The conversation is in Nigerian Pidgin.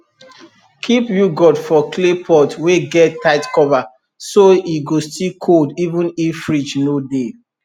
keep yoghurt for clay pot wey get tight cover so e go still cold even if fridge no dey